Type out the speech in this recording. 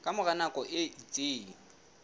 ka mora nako e itseng